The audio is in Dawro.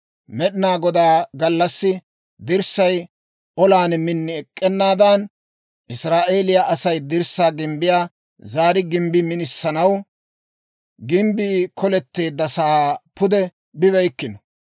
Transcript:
Med'inaa Godaa gallassi dirssay olan min ek'k'anaadan, Israa'eeliyaa Asay dirssaa gimbbiyaa zaari gimbbi minisanaw, gimbbii koletteeddasaa pude bibeykkino.